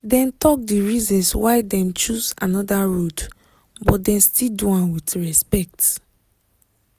dem talk di reasons why dem choose another road but dem still do am with respect.